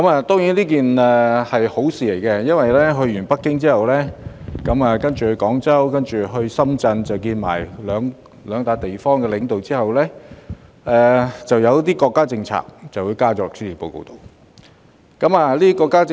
當然，這也是一件好事，因為在訪京後，她再到廣州及深圳與當地領導會面，其後便將一些國家政策納入施政報告。